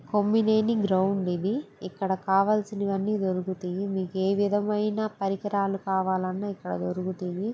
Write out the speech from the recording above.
Kommineni ground ఇది. ఇక్కడ కావాల్సినవి అన్ని దొరుకుతాయి. మీకు ఆ విధాయమైన పరికరాలు ఇక్కడ దొరుకుతాయి.